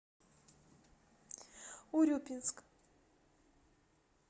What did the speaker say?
урюпинск